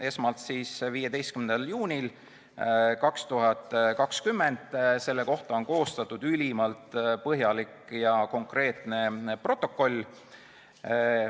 Esmalt 15. juunil 2020, selle kohta on koostatud ülimalt põhjalik ja konkreetne protokoll.